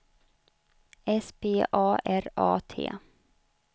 S P A R A T